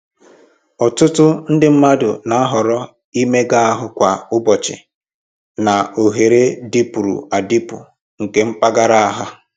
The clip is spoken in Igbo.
Ọtụtụ ndị mmadụ na-ahọrọ imega ahụ kwa ụbọchị na oghere dịpụrụ adịpụ nke mpaghara ha